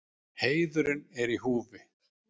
Heiðurinn er í húfi.